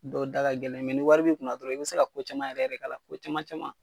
Dɔw da ka gɛlɛn ni wari b'i kun na dɔrɔn, i bi se ka ko caman yɛrɛ yɛrɛ k'a la. Ko caman caman.